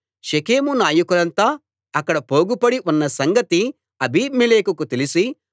షెకెము నాయకులంతా అక్కడ పోగుపడి ఉన్న సంగతి అబీమెలెకుకు తెలిసి